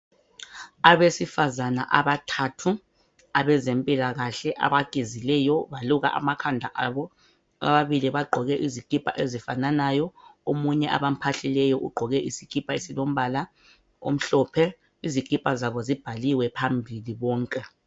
Abesifazana abathathu abezempilakahle abagezileyo baluka amakhanda abo. Ababili bagqoke izikipa ezifafanyo omunye abaphahlileyo ugqoke isikipha esilombala omhlophe. Izikipa zabo zibhaliwe phambili zonke.